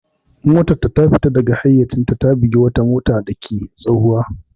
Motarta ta fita daga hayyacinta ta bugi wata motar dake tahowa.